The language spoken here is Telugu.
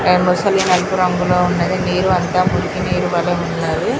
మొసలి నలుపు రంగులో ఉన్నది నీరంతా మురుకినీరువలే ఉన్నది